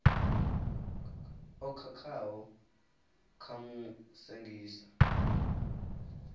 o khakhaho vha mu sengisa